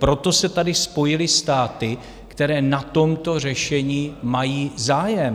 Proto se tady spojily státy, které na tomto řešení mají zájem.